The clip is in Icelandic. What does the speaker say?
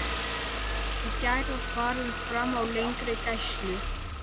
Í gær var farið fram á lengri gæslu.